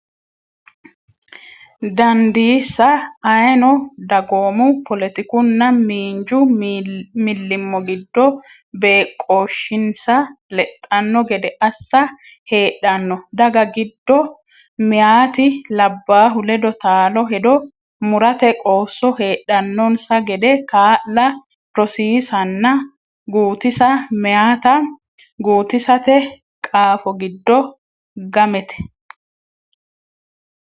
dandiisa, ayeeno dagoomu, poletikunna miinju millimmo giddo beeqqooshshinsa lexxanno gede assa, heedhanno daga giddo meyaati labbaahu ledo taalo hedo murate qoosso heedhannonsa gede kaa’la, rosi- isanna guutisa meyaata guutisate qaafo giddo gamete.